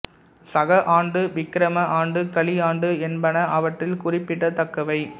சக ஆண்டு விக்கிரம ஆண்டு கலி ஆண்டு என்பன அவற்றில் குறிப்பிடத்தக்கவை